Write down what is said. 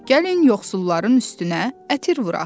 Gəlin yoxsulların üstünə ətir vuraq.